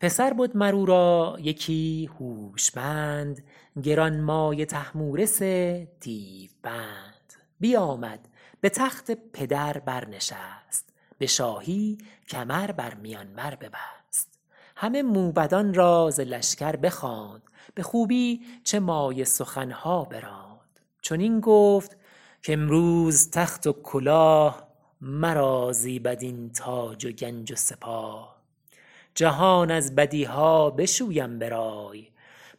پسر بد مر او را یکی هوشمند گرانمایه طهمورث دیو بند بیامد به تخت پدر بر نشست به شاهی کمر بر میان بر ببست همه موبدان را ز لشکر بخواند به خوبی چه مایه سخن ها براند چنین گفت کامروز تخت و کلاه مرا زیبد این تاج و گنج و سپاه جهان از بدی ها بشویم به رای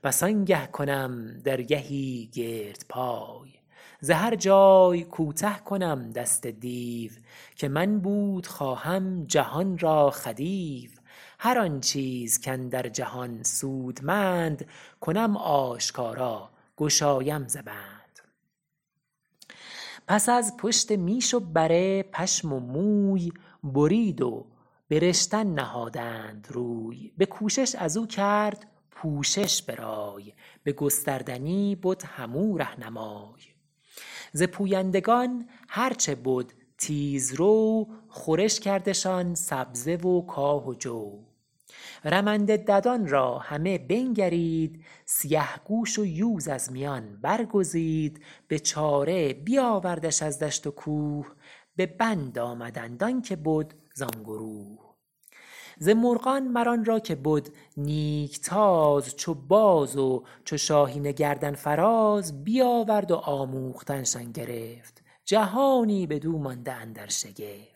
پس آنگه کنم درگهی گرد پای ز هر جای کوته کنم دست دیو که من بود خواهم جهان را خدیو هر آن چیز کاندر جهان سودمند کنم آشکارا گشایم ز بند پس از پشت میش و بره پشم و موی برید و به رشتن نهادند روی به کوشش از او کرد پوشش به رای به گستردنی بد هم او رهنمای ز پویندگان هر چه بد تیز رو خورش کردشان سبزه و کاه و جو رمنده ددان را همه بنگرید سیه گوش و یوز از میان برگزید به چاره بیاوردش از دشت و کوه به بند آمدند آن که بد زان گروه ز مرغان مر آن را که بد نیک تاز چو باز و چو شاهین گردن فراز بیاورد و آموختن شان گرفت جهانی بدو مانده اندر شگفت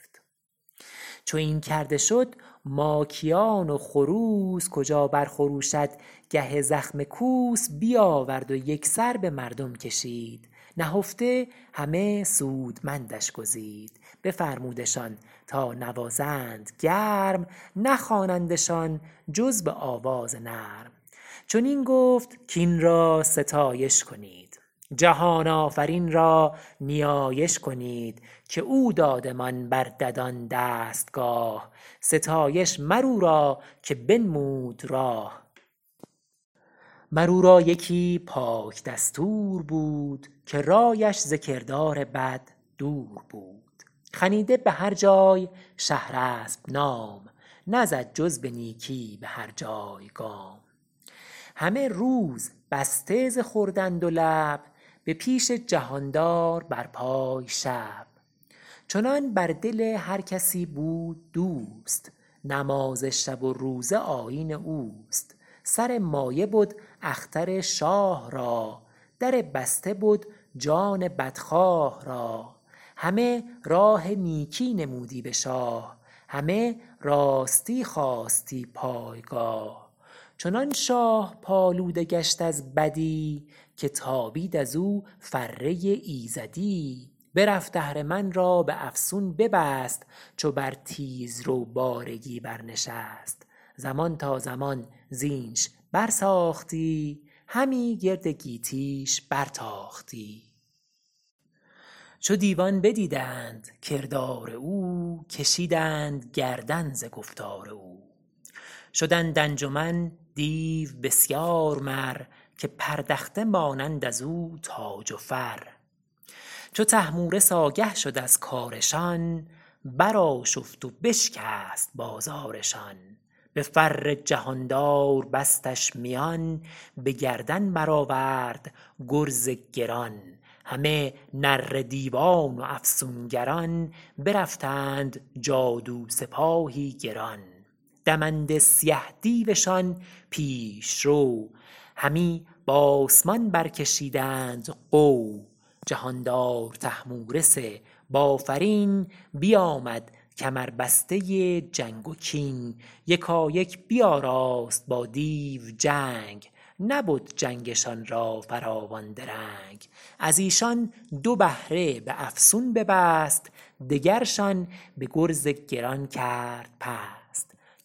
چو این کرده شد ماکیان و خروس کجا بر خروشد گه زخم کوس بیاورد و یک سر به مردم کشید نهفته همه سودمندش گزید بفرمودشان تا نوازند گرم نخوانندشان جز به آواز نرم چنین گفت کاین را ستایش کنید جهان آفرین را نیایش کنید که او دادمان بر ددان دستگاه ستایش مر او را که بنمود راه مر او را یکی پاک دستور بود که رایش ز کردار بد دور بود خنیده به هر جای شهرسپ نام نزد جز به نیکی به هر جای گام همه روز بسته ز خوردن دو لب به پیش جهاندار بر پای شب چنان بر دل هر کسی بود دوست نماز شب و روزه آیین اوست سر مایه بد اختر شاه را در بسته بد جان بدخواه را همه راه نیکی نمودی به شاه همه راستی خواستی پایگاه چنان شاه پالوده گشت از بدی که تابید ازو فره ایزدی برفت اهرمن را به افسون ببست چو بر تیز رو بارگی بر نشست زمان تا زمان زینش بر ساختی همی گرد گیتی ش بر تاختی چو دیوان بدیدند کردار او کشیدند گردن ز گفتار او شدند انجمن دیو بسیار مر که پردخته مانند از او تاج و فر چو طهمورث آگه شد از کارشان بر آشفت و بشکست بازارشان به فر جهاندار بستش میان به گردن بر آورد گرز گران همه نره دیوان و افسونگران برفتند جادو سپاهی گران دمنده سیه دیوشان پیش رو همی بآسمان برکشیدند غو جهاندار طهمورث بافرین بیامد کمربسته جنگ و کین یکایک بیاراست با دیو جنگ نبد جنگشان را فراوان درنگ از ایشان دو بهره به افسون ببست دگرشان به گرز گران کرد پست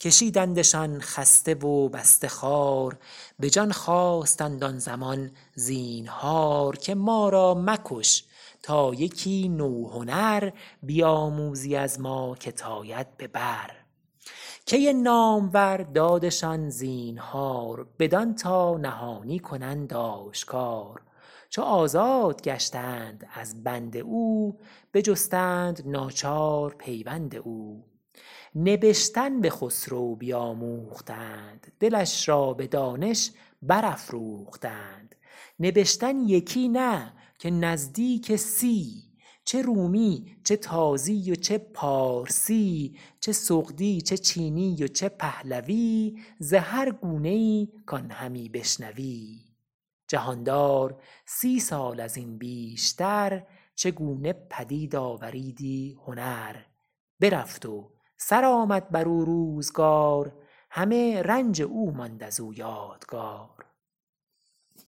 کشیدندشان خسته و بسته خوار به جان خواستند آن زمان زینهار که ما را مکش تا یکی نو هنر بیاموزی از ما که ت آید به بر کی نامور دادشان زینهار بدان تا نهانی کنند آشکار چو آزاد گشتند از بند او بجستند ناچار پیوند او نبشتن به خسرو بیاموختند دلش را به دانش برافروختند نبشتن یکی نه که نزدیک سی چه رومی چه تازی و چه پارسی چه سغدی چه چینی و چه پهلوی ز هر گونه ای کان همی بشنوی جهاندار سی سال از این بیشتر چه گونه پدید آوریدی هنر برفت و سر آمد بر او روزگار همه رنج او ماند از او یادگار